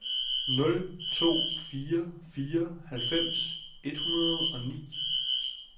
nul to fire fire halvfems et hundrede og ni